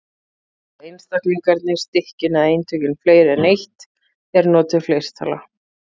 Séu einstaklingarnir, stykkin eða eintökin fleiri en eitt er notuð fleirtala.